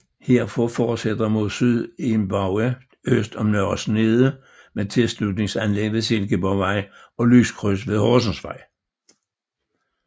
Herfra fortsætter mod syd i en bue øst om Nørre Snede med tilslutningsanlæg ved Silkeborgvej og lyskryds ved Horsensvej